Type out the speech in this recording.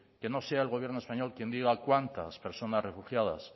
que no sea el gobierno español quien diga cuántas personas refugiadas